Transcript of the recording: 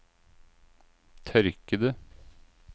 tørkede